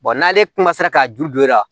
n'ale ka juru don e la